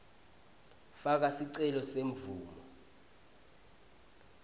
faka sicelo semvumo